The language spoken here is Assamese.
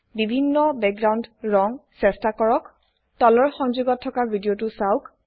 বিভিন্ন ব্যাকগ্ৰাউন্ড ৰং চেষ্টা কৰক তলৰ সংযোগত থকা ভিদিয়তো চাওক